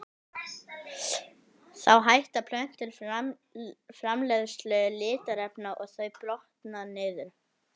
Þá hætta plöntur framleiðslu litarefna og þau brotna niður.